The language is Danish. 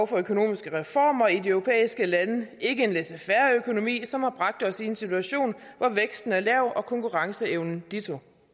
for økonomiske reformer i de europæiske lande ikke en laissez faire økonomi som har bragt os i en situation hvor væksten er lav og konkurrenceevnen ditto